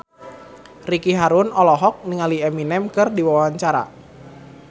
Ricky Harun olohok ningali Eminem keur diwawancara